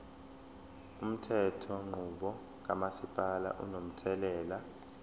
umthethonqubo kamasipala unomthelela